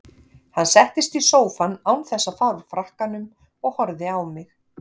Hann settist í sófann án þess að fara úr frakkanum og horfði á mig.